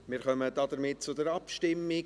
Wir kommen damit zur Abstimmung.